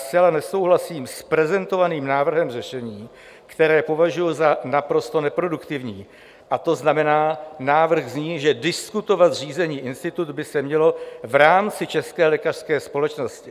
Zcela nesouhlasím s prezentovaným návrhem řešení, které považuji za naprosto neproduktivní, a to znamená: návrh zní, že diskutovat zřízený institut by se mělo v rámci České lékařské společnosti.